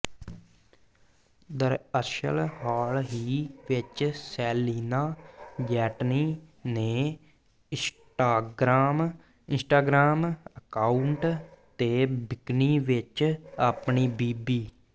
ਦਰਅਸਲ ਹਾਲ ਹੀ ਵਿੱਚ ਸੈਲੀਨਾ ਜੇਟਨੀ ਨੇ ਇੰਸਟਾਗ੍ਰਾਮ ਅਕਾਊਂਟ ਤੇ ਬਿਕਨੀ ਵਿੱਚ ਆਪਣੀ ਬੇਬੀ